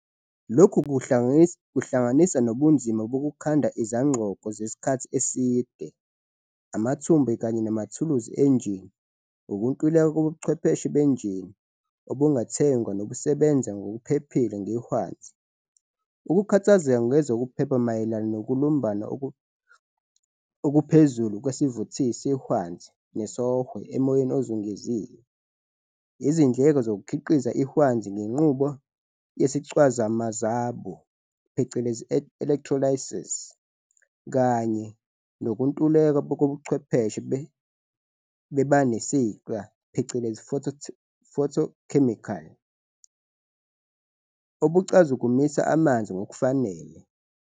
Lokhu kuhlanganisa nobunzima bokukhanda izangxoko zesikhathi eside, amathumbu kanye namathuluzi enjini, ukuntuleka kobuchwepheshe benjini obungathengwa nobusebenza ngokuphephile ngehwanzi, ukukhathazeka ngezokuphepha mayelana nokulumbana okuphezulu kwesivuthisi sehwanzi nesOhwe emoyeni ozungezile, izindleko zokukhiqiza ihwanzi ngenqubo yesicazwamazabu, phecelezi, "electrolysis", kanye nokuntuleka kobuchwepheshe bebanesiqa, phecelezi, "photochemical" obucazukisa amanzi ngokufanele.